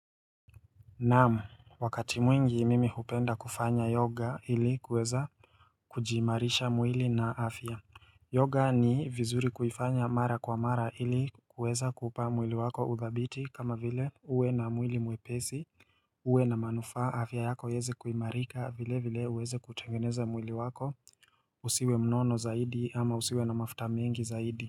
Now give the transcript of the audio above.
Naam wakati mwingi mimi hupenda kufanya yoga ili kuweza kujiimarisha mwili na afya Yoga ni vizuri kuifanya mara kwa mara ili kuweza kupa mwili wako udhabiti kama vile uwe na mwili mwepesi uwe na manufaa afya yako iweze kuimarika vile vile uweze kutengeneza mwili wako usiwe mnono zaidi ama usiwe na mafuta mengi zaidi.